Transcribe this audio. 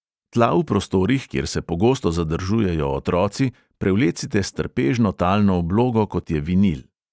Tla v prostorih, kjer se pogosto zadržujejo otroci, prevlecite s trpežno talno oblogo, kot je vinil.